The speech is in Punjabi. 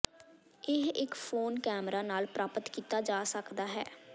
ਇਹ ਇੱਕ ਫੋਨ ਕੈਮਰਾ ਨਾਲ ਪ੍ਰਾਪਤ ਕੀਤਾ ਜਾ ਸਕਦਾ ਹੈ